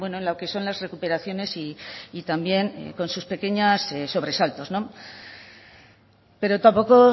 en lo que son las recuperaciones y también con sus pequeños sobresaltos pero tampoco